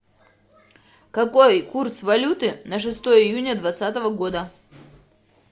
какой курс валюты на шестое июня двадцатого года